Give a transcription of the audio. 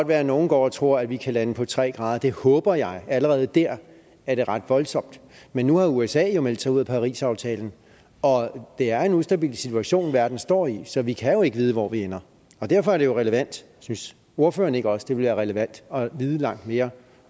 være at nogle går og tror at vi kan lande på tre grader det håber jeg men allerede der er det ret voldsomt men nu har usa jo meldt sig ud af parisaftalen og det er en ustabil situation verden står i så vi kan jo ikke vide hvor vi ender og derfor er det jo relevant synes ordføreren ikke også det ville være relevant at vide langt mere